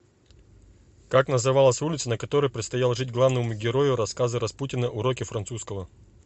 как называлась улица на которой предстояло жить главному герою рассказа распутина уроки французского